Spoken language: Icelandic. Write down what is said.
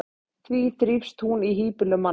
því þrífst hún í hýbýlum manna